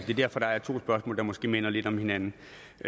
er derfor der er to spørgsmål der måske minder lidt om hinanden